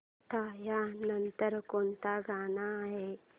आता या नंतर कोणतं गाणं आहे